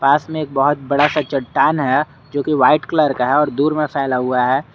पास में एक बहोत बड़ा सा चट्टान है जो की वाइट कलर का है और दूर में फैला हुआ है।